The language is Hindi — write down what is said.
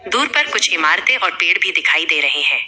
दूर पर कुछ इमारतें और पेड़ भी दिखाई दे रहे हैं।